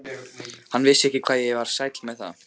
Hann vissi ekki hvað ég var sæll með það.